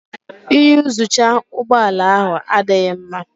Iyuzucha ụgbọ ala ahụ adịghị mma